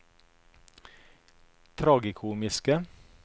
tragikomiske